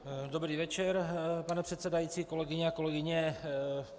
Dobrý večer, pane předsedající, kolegyně a kolegové.